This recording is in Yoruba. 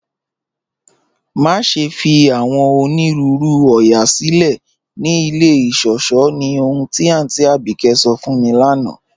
Maṣẹ̀ fi awọn onírùúrù oóyà silẹ̀ ni ilẹ̀ ìṣọ̀ṣọ̀ ní ọ̀hun ti Aunty Abike sọ̀ fún mi lána